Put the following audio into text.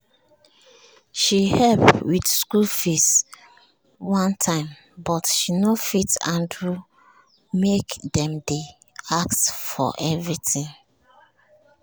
she help with school fees one time but she no fit handle make dem dey ask her every time